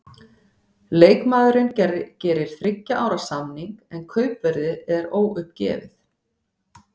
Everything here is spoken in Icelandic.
Leikmaðurinn gerir þriggja ára samning, en kaupverðið er óuppgefið.